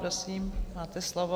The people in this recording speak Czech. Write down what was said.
Prosím, máte slovo.